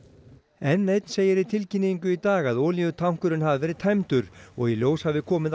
n eins segir í tilkynningu í dag að olíutankurinn hafi verið tæmdur og í ljós hafi komið